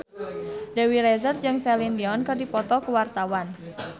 Dewi Rezer jeung Celine Dion keur dipoto ku wartawan